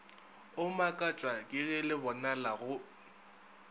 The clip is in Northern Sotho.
o makatšwa kege lebonala go